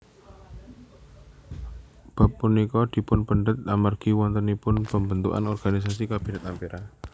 Bab punika dipunpendhet amargi wontenipun pembentukan organisasi Kabinet Ampera